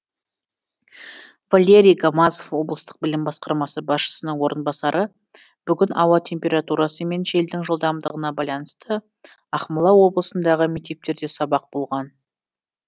валерий гамазов облыстық білім басқармасы басшысының орынбасары бүгін ауа температурасы мен желдің жылдамдығына байланысты ақмола облысындағы мектептерде сабақ болған жоқ